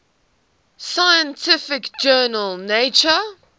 scientific journal nature